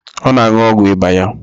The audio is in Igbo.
Ọ na-aṅụ́ogwu ịba ya